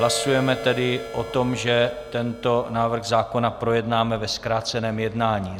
Hlasujeme tedy o tom, že tento návrh zákona projednáme ve zkráceném jednání.